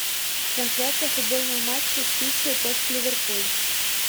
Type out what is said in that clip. трансляция футбольного матча сити против ливерпуль